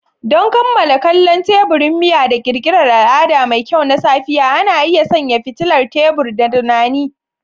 Don kammala kallon teburin miya da ƙirƙirar al'ada mai kyau na safiya, ana iya sanya fitilar tebur da tunani.